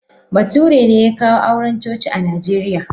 Bature ne ya kawo auren coci a Najeriya.